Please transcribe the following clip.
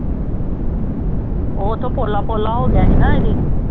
ਉਹ ਉੱਥੋਂ ਪੋਲਾ ਪੋਲਾ ਹੋ ਗਿਆ ਸੀ